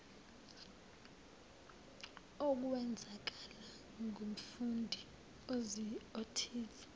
okwenzakala kumfundi othize